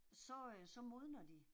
Så øh så modner de